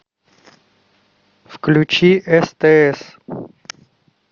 включи стс